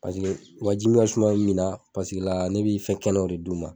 Paseke u ka jimin ka suma min na, paseke la, ne be fɛ kɛnɛw o de d'u ma.